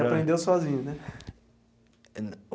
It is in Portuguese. E aprendeu sozinho, né?